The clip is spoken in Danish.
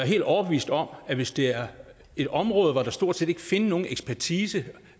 helt overbevist om at hvis det er et område hvor der stort set ikke findes nogen ekspertise